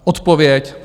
Odpověď?